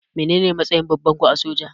Mene ne matsayin babanku a soja?